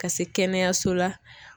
Ka se kɛnɛyaso la